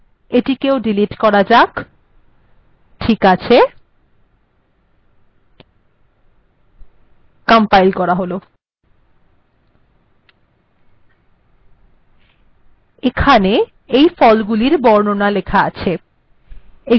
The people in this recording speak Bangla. এটিকেও ডিলিট করা যাক ঠিক আছে কম্পাইল করা হল এখানে এই ফলগুলির বর্ণনা লেখা আছে